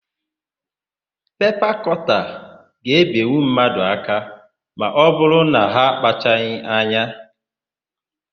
Pepa kọta ga-ebenwu mmadụ aka ma ọbụrụ na ha akpachaghị anya.